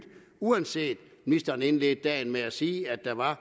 uanset at ministeren indledte dagen med at sige at der var